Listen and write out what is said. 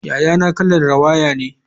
Yayana kalar rawaya ne.